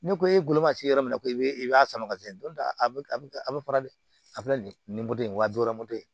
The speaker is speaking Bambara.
Ni ko ye goloma se yɔrɔ min na ko i bi i b'a sama ka se a bi a bi a be fara de a be na ni moto wa bi wɔɔrɔ moto ye